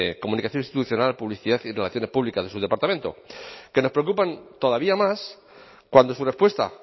comunicación institucional publicidad y relaciones públicas de su departamento que nos preocupan todavía más cuando su respuesta